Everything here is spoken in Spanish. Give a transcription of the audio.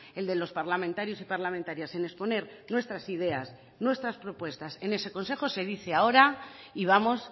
el de los parlamentarios y parlamentarias en exponer nuestras ideas nuestras propuestas en ese consejo se dice ahora y vamos